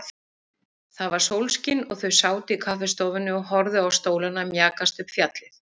Það var sólskin og þau sátu í kaffistofunni og horfðu á stólana mjakast upp fjallið.